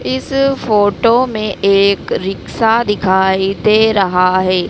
इस फोटो में एक रिक्शा दिखाई दे रहा है।